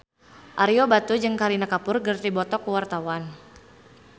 Ario Batu jeung Kareena Kapoor keur dipoto ku wartawan